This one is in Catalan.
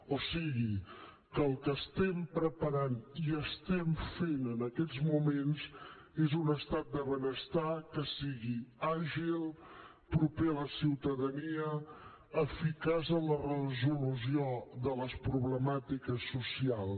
o sigui que el que estem preparant i estem fent en aquests moments és un estat de benestar que sigui àgil proper a la ciutadania eficaç en la resolució de les problemàtiques socials